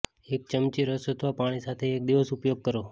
એક ચમચી રસ અથવા પાણી સાથે એક દિવસ ઉપયોગ કરો